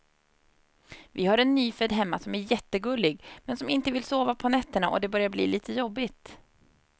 Vi har en nyfödd hemma som är jättegullig, men som inte vill sova på nätterna och det börjar bli lite jobbigt.